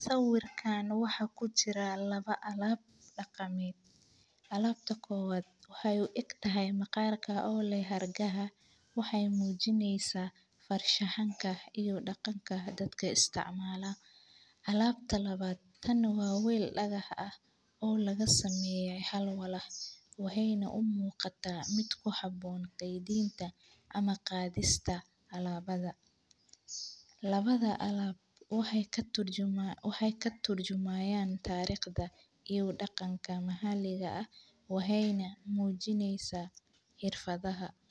Sawirkan waxaa ku jiraa lawa alab daqameed, alabta kowaad wexey u eggtahay maqarka o leh xargaaha, wexee mujineysaa farshaxanka iyo daqaanka daadka isticmala, alabtanta lawaad tan waa weel dagax ah o laga sameyee hal walax, wexey na u muqataa miid ku haboon geyintaa ama qadista alabaada, lawada alab waxee katur jumayan tariqtaa iyo daqanka maxaliga ah, waxey na xojineysaa xirfaadhaha.